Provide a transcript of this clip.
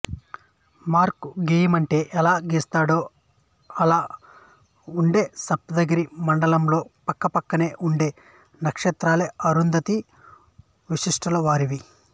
mark గీయమంటే ఎలా గీస్తాడో అలా ఉండే సప్తర్షి మండలంలో పక్కపక్కనే ఉండే నక్షత్రాలే అరుంధతి వశిష్ఠులవారివి